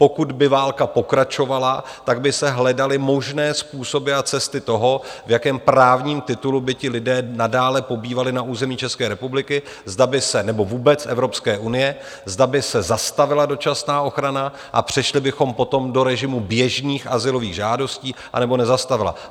Pokud by válka pokračovala, tak by se hledaly možné způsoby a cesty toho, v jakém právním titulu by ti lidé nadále pobývali na území České republiky, zda by se - nebo vůbec Evropské unie - zda by se zastavila dočasná ochrana a přešli bychom potom do režimu běžných azylových žádostí, anebo nezastavila.